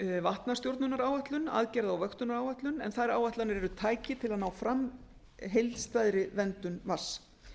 vatnastjórnunaráætlun aðgerða og vöktunaráætlun en þær áætlanir eru tæki til að ná fram heildstæðri verndun vatns